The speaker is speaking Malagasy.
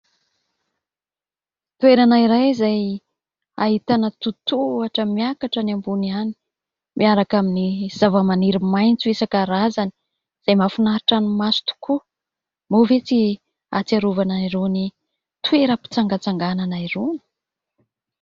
Toerana iray izay ahitana totohatra miakatra any ambony any, miaraka amin'ny zava-maniry maintso isankarazany, izay mafinaritra ny maso tokoa. Moa ve tsy atsiarovana irony toeram-pitsangatsanganana irony ?